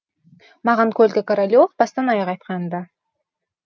маған колька королев бастан аяқ айтқан ды